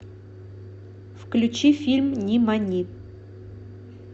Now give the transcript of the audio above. включи фильм нимани